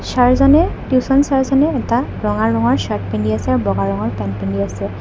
ছাৰজনে tuition ছাৰজনে এটা ৰঙা ৰঙৰ চাৰ্ত পিন্ধি আছে আৰু বগা ৰঙৰ পেন্ট পিন্ধি আছে।